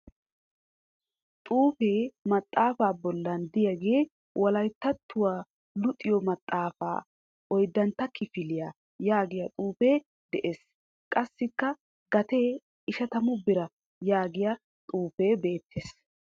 Xuufee maxxaafaa bollan diyagee" wolayittattuwa luxiyo maxxaafaa oyiddantta kifiliya " yaagiya xuufee de'ees. Qassikka gatee ishatamu bira yaagiya xuufee beettes.